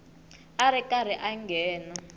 a ri karhi a nghena